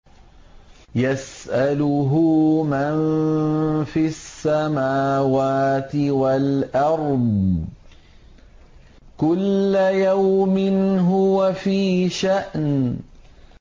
يَسْأَلُهُ مَن فِي السَّمَاوَاتِ وَالْأَرْضِ ۚ كُلَّ يَوْمٍ هُوَ فِي شَأْنٍ